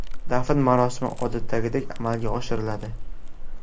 Dafn marosimi odatdagidek amalga oshiriladi.